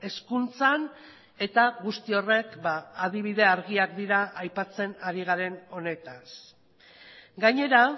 hezkuntzan eta guzti horrek adibide argiak dira aipatzen ari garen honetaz gainera